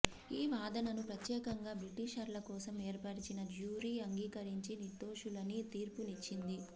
ఈ వాదనను ప్రత్యేకంగా బ్రిటీషర్ల కోసం ఏర్పరిచిన జ్యూరీ అంగీకరించి నిర్దోషులని తీర్పునిచ్చింది